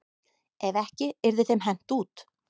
Ef ekki yrði þeim hent út.